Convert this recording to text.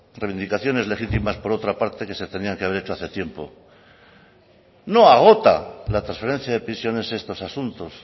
reivindicaciones legítimas por otra parte que se tenían que haber hecho hace tiempo no agota la transferencia de prisiones estos asuntos